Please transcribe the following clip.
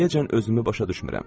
İndiyəcən özümü başa düşmürəm.